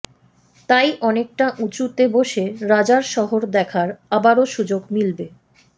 তাই অনেকটা উঁচুতে বসে রাজার শহর দেখার আবারও সুযোগ মিলবে